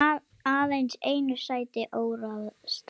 Aðeins einu sæti óráðstafað